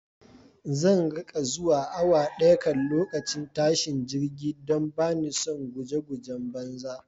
Zan riƙa zuwa awa daya kan lokacin tashin jirgi don bani son guje gujen banza